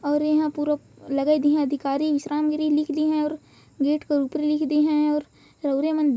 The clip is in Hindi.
और यहाँ पूरा लगाई दी अधिकारी विश्राम गिरी लिख दी है और गेट के ऊपर लिख दी है और रघु रे मन --